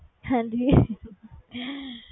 ਹਾਂਜੀ